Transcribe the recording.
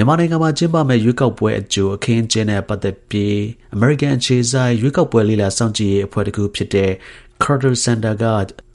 ြန်မာနိုင်ငံမှာ ကျင်းပမယ့် ရွေးကောက်ပွဲအကြို အခင်းအကျင်းနဲ့ ပတ်သက်ပြီး အမေရိကန် အခြေစိုက် ရွေးကောက်ပွဲ လေ့လာ စောင့်ကြည့်ရေး အဖွဲ့တစ်ခုဖြစ်တဲ့ Carter Center က